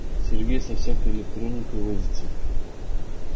сергей со всякой электроникой возится